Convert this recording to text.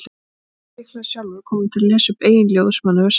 Og mjög líklega sjálfur kominn til að lesa upp eigin ljóð sem hann hefur samið.